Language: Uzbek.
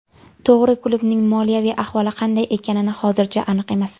To‘g‘ri, klubning moliyaviy ahvoli qanday ekani hozircha aniq emas.